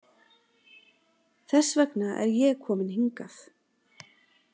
Þess vegna er ég komin hingað.